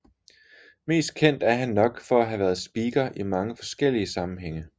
Mest kendt er han nok for at have været speaker i mange forskellige sammenhænge